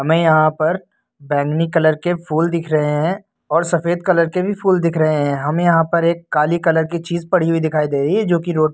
हमें यहां पर बैंगनी कलर के फूल दिख रहे हैं और सफेद कलर के भी फूल दिख रहे हैं। हमें यहां पर एक काली कलर की चीज पड़ी हुई दिखाई दे रही है जो कि रोड --